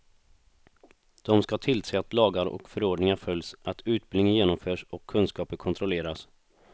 De skall tillse att lagar och förordningar följs, att utbildning genomförs och kunskaper kontrolleras.